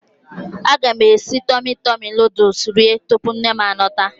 Aga m esi Tọmi Tọmi nuduls rie tupu nnem a lọta.